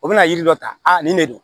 O bɛna yiri dɔ ta a nin de don